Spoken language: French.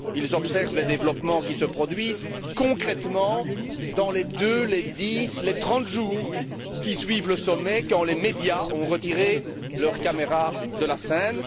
Ils observent les développements qui se produisent concrètement dans les deux, les dix, les trente jours qui suivent le sommet, quand les médias ont retiré leurs caméras de la scène.